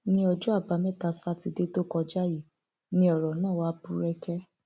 ní ọjọ àbámẹta sátidé tó kọjá yìí ni ọrọ náà wàá búrẹkẹ